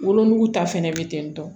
Wolonugu ta fɛnɛ bɛ ten tɔ